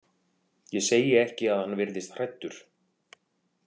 Ég segi ekki að hann virðist hræddur.